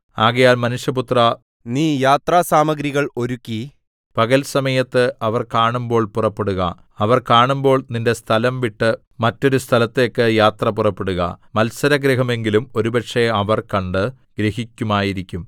ആകയാൽ മനുഷ്യപുത്രാ നീ യാത്രാസാമഗ്രികൾ ഒരുക്കി പകൽ സമയത്ത് അവർ കാണുമ്പോൾ പുറപ്പെടുക അവർ കാണുമ്പോൾ നിന്റെ സ്ഥലം വിട്ട് മറ്റൊരു സ്ഥലത്തേക്ക് യാത്ര പുറപ്പെടുക മത്സരഗൃഹമെങ്കിലും ഒരുപക്ഷേ അവർ കണ്ട് ഗ്രഹിക്കുമായിരിക്കും